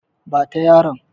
Ba ta yaron!